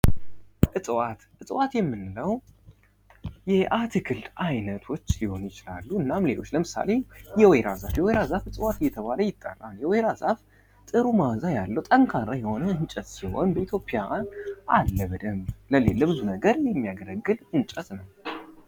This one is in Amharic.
እፅዋት እጽዋት የምንለው የአትክልት አይነቶች ሊሆኑ ይችላሉ። እናም ሌሎች ለምሳሌ የወይራ ዛፍ የወይራ ዛፍ እጽዋት እየተባለ ይጠራል። የወይራ ዛፍ ጥሩ ማዓዛ ያለው ጠንካራ የሆነ እንጨት ሲሆን በኢትዮጵያን አለ በደንብ ለብዙ ነገር የሚያገለግል እንጨት ነው።